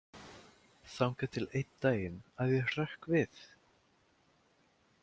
þangað til einn daginn að ég hrökk við?